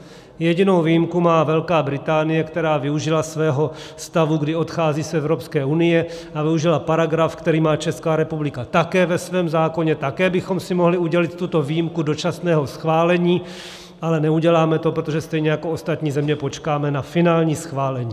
Jedinou výjimku má Velká Británie, která využila svého stavu, kdy odchází z Evropské unie, a využila paragraf, který má Česká republika také ve svém zákoně, také bychom si mohli udělil tuto výjimku dočasného schválení, ale neuděláme to, protože stejně jako ostatní země počkáme na finální schválení.